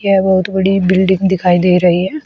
यह बहुत बड़ी बिल्डिंग दिखाई दे रही है।